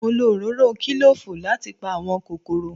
Mo lo òróró kílòfù láti pa àwọn kòkòrò